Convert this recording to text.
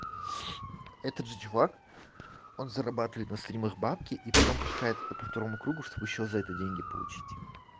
этот же чувак он зарабатывает на стримах бабки и потом пускает это по второму кругу чтобы ещё за это деньги получить